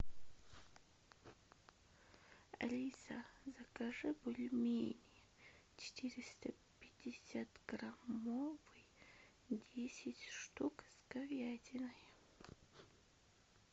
алиса закажи бульмени четыреста пятьдесят граммовый десять штук с говядиной